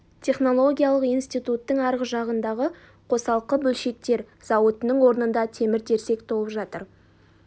технологиялық институттың арғы жағындағы қосалқы бөлшектер зауытының орнында темір-терсек толып жатыр